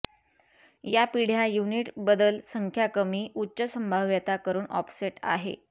या पिढ्या युनिट बदल संख्या कमी उच्च संभाव्यता करून ऑफसेट आहे